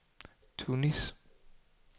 Tunis